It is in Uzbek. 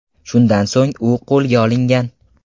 Shundan so‘ng u qo‘lga olingan.